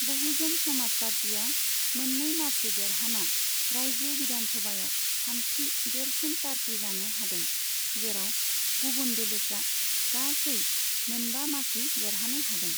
बहुजन समाज पार्टीआ मोननै मासि देराहाना रायजो बिधान सभायाव थामथि देरसिन पार्टी जानो हादों, जेराव गुबुन दोलोफ्रा गासै मोनबा मासि देरहानो हादों।